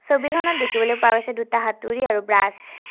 ছবিখনত দেখিবলৈ পোৱা গৈছে দুটা হাতুৰী আৰু ব্ৰাছ ।